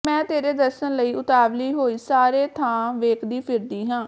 ਮੈਂ ਤੇਰੇ ਦਰਸਨ ਲਈ ਉਤਾਵਲੀ ਹੋਈ ਸਾਰੇ ਥਾਂ ਵੇਖਦੀ ਫਿਰਦੀ ਹਾਂ